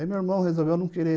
Aí meu irmão resolveu não querer.